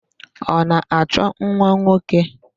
Ọ na-achọ nwanwoke?